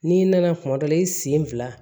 N'i nana kuma dɔ la i sen fila